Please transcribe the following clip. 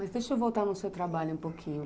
Mas deixa eu voltar no seu trabalho um pouquinho.